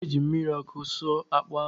ọ ga-eji mmiri ọkụ sụọ akpụ ahụ